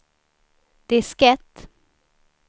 diskett